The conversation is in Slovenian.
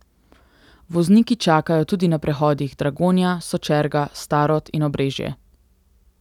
Vozniki čakajo tudi na prehodih Dragonja, Sočerga, Starod in Obrežje.